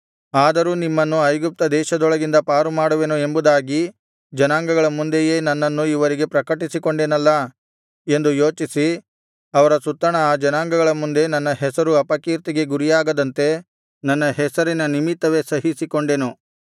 ಆದರೂ ನಿಮ್ಮನ್ನು ಐಗುಪ್ತ ದೇಶದೊಳಗಿಂದ ಪಾರುಮಾಡುವೆನು ಎಂಬುದಾಗಿ ಜನಾಂಗಗಳ ಮುಂದೆಯೇ ನನ್ನನ್ನು ಇವರಿಗೆ ಪ್ರಕಟಿಸಿಕೊಂಡೆನಲ್ಲಾ ಎಂದು ಯೋಚಿಸಿ ಅವರ ಸುತ್ತಣ ಆ ಜನಾಂಗಗಳ ಮುಂದೆ ನನ್ನ ಹೆಸರು ಅಪಕೀರ್ತಿಗೆ ಗುರಿಯಾಗದಂತೆ ನನ್ನ ಹೆಸರಿನ ನಿಮಿತ್ತವೇ ಸಹಿಸಿಕೊಂಡೆನು